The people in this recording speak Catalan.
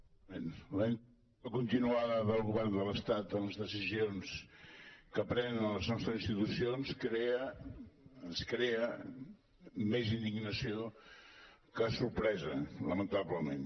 la intromissió continuada del govern de l’estat en les decisions que prenen les nostres institucions crea ens crea més indignació que sorpresa lamentablement